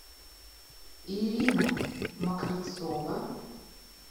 ирина мокрицова